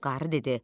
Qarı dedi: